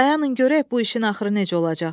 Dayanın görək bu işin axırı necə olacaq.